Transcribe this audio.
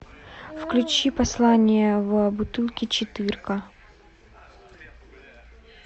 включи послание в бутылке четыре ка